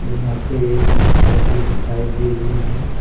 यहाँ पे एक महिला भी दिखाई दे रही है।